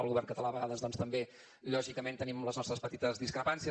al govern català a vegades doncs també lògicament tenim les nostres petites discrepàncies